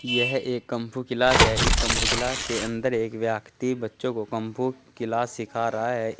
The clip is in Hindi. यह एक कंफू किलास है इस कंफू किलास के अंदर एक व्यक्ति बच्चों को कंफू किलास सिखा रहा है।